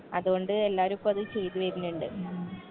അതോണ്ട് എല്ലാരും ഇപ്പത് ചെയ്ത് വരിനിണ്ട്